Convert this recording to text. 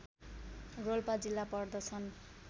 रोल्पा जिल्ला पर्दछन्